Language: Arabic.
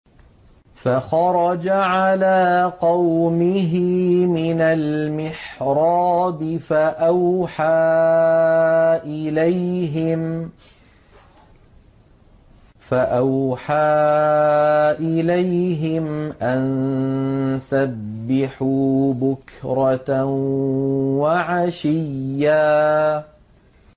فَخَرَجَ عَلَىٰ قَوْمِهِ مِنَ الْمِحْرَابِ فَأَوْحَىٰ إِلَيْهِمْ أَن سَبِّحُوا بُكْرَةً وَعَشِيًّا